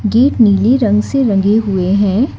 Gate नीले रंग से रंगे हुए हैं।